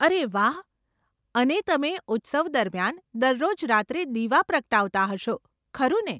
અરે વાહ, અને તમે ઉત્સવ દરમિયાન દરરોજ રાત્રે દીવા પ્રગટાવતા હશો, ખરુને?